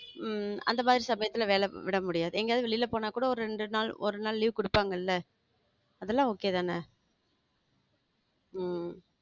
உம் அந்த மாதிரி சமயத்தில் வேளையை விட முடியாது எங்கயாவுது வெளியே போணா கூட ரெண்டு நாள் ஒரு நாள் leave குடுப்பாங்கல? அதுலா okay தானே? உம்